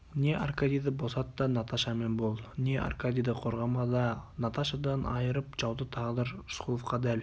не аркадийді босат та наташамен бол не аркадийді қорғама да наташадан айырып жауды тағдыр рысқұловқа дәл